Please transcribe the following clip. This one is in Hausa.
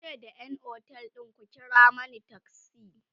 yace da ƴan otel ɗin "ku kira Mani taksi!"